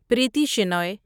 Preeti Shenoy